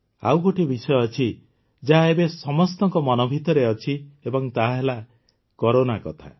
ଆଉ ଗୋଟିଏ ବିଷୟ ଅଛି ଯାହା ଏବେ ସମସ୍ତଙ୍କ ମନ ଭିତରେ ଅଛି ଏବଂ ତାହାହେଲା କରୋନା କଥା